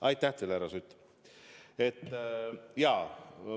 Aitäh teile, härra Sutt!